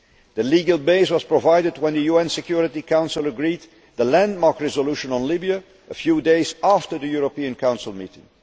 The legal base was provided when the UN Security Council agreed the landmark resolution on Libya a few days after the European Council meeting.